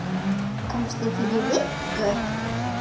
Komstu fyrir viku?